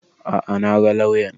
A'a na ga lauyan